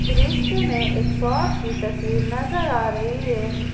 दृश्य में एक शॉप की तस्वीर नजर आ रही है।